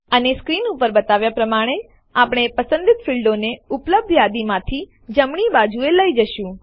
અને સ્ક્રીન ઉપર બતાવ્યાં પ્રમાણે આપણે પસંદિત ફીલ્ડોને ઉપલબ્ધ યાદીમાંથી જમણી બાજુએ લઇ જશું